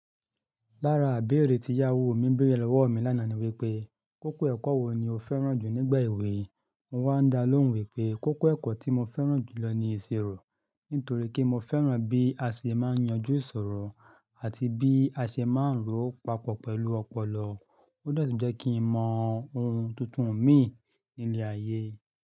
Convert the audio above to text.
Lára ibẹ́erẹ́ tí ìyàwó mi béèrè lọ́wọ́ mi lánàá ni wípé, kókó ẹ̀kọ́ wo ni o fẹ́ràn jù nígbà èwe? Mo wá dá lóhùn wípé, kókó ẹ̀kọ́ tí mo fẹ́ràn jù lọ ni ìṣirò. Nítorí pé mo fẹ́ràn bí aṣè máa ń yanjú ìṣòro àti bí aṣè máa ń rò papọ̀ pẹ̀lú ọpọlọ. Ó de tun jẹ́ kí n mọ ohun tuntun mìí ní ilé ayé.